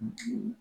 Jiginni